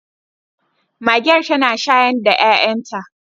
Magen zata shayar da 'ya'yanta